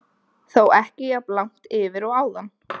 Þó ekki jafn langt yfir og áðan.